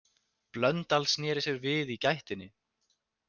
Blöndal sneri sér við í gættinni.